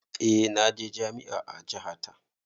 Eh naje jami'a a jaha ta